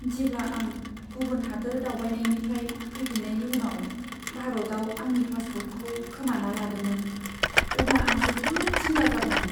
जेब्ला आं गुबुन हादोर दावबायनायनिफ्राय फैफिन्नायनि उनाव भारताव आंनि पासप'र्टखौ खोमाना लादोंमोन, अब्ला आं जोबोद जिंगा जादोंमोन।